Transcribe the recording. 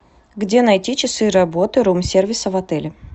где найти часы работы рум сервиса в отеле